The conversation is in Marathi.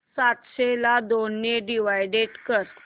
सातशे ला दोन ने डिवाइड कर